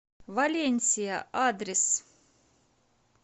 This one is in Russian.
валенсия адрес